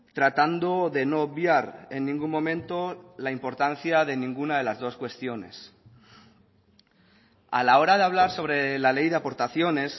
tratando de no obviar en ningún momento la importancia de ninguna de las dos cuestiones a la hora de hablar sobre la ley de aportaciones